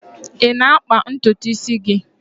Ị na-akpa ntutu isi gị?